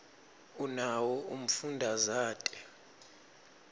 unawo umfundazate